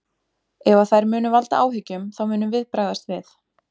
Ef að þær munu valda áhyggjum þá munum við bregðast við.